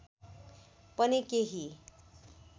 पनि केही